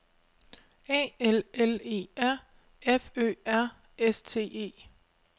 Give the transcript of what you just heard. A L L E R F Ø R S T E